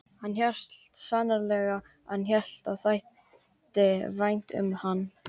Hann hélt sannarlega að henni þætti vænt um hann.